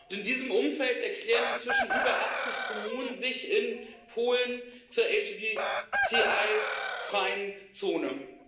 In diesem Umfeld erklären sich inzwischen über 80 Kommunen in Polen zur LGBTI freien Zone.